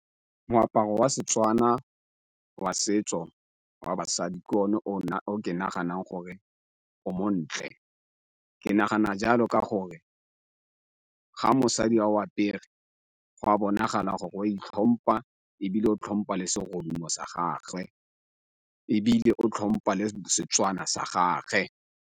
Moaparo wa Setswana wa setso wa basadi ke o ne o ke nagana gore o montle, ke nagana jalo ka gore ga mosadi a o apere go a bonagala gore wa itlhompha ebile o tlhompha le serodumo sa gagwe ebile o tlhompa le Setswana sa gage.